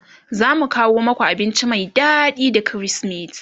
zamu kawo maku abinci Mai daɗi da krismeti